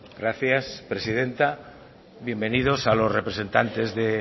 gracias presidenta bienvenidos a los representantes de